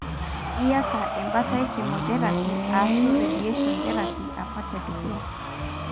iata embaata e chemotherapy ashu radiation therapy apa tedukuya.